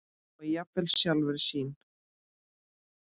og jafnvel sjálfra sín.